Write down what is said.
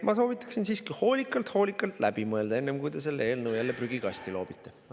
Ma soovitan siiski hoolikalt järele mõelda, enne kui te selle eelnõu jälle prügikasti loobite.